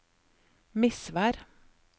Misvær